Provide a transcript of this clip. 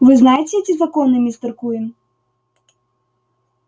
вы знаете эти законы мистер куинн